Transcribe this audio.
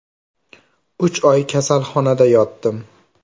– Uch oy kasalxonada yotdim.